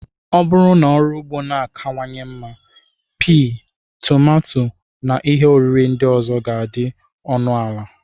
Ọ bụrụ na ọrụ ugbo na-akawanye mma, pii, tomato, na ihe oriri ndị ọzọ ga-adị ọnụ ala.